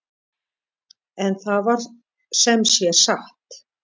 En það var sem sé satt.